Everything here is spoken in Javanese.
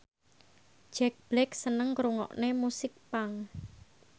Jack Black seneng ngrungokne musik punk